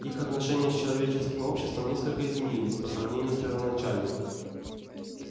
их отношения с человеческим обществом несколько изменились по сравнению с первоначальными